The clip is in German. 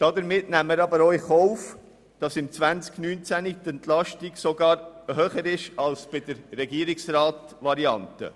Damit nehmen wir aber auch in Kauf, dass die Entlastung im Jahr 2019 sogar höher ausfällt als bei der Variante des Regierungsrats.